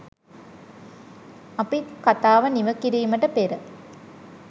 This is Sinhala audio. අපි කතාව නිම කිරීමට පෙර